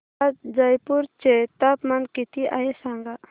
आज जयपूर चे तापमान किती आहे सांगा